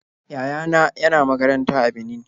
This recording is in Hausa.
Yaya na yana makaranta a Benin.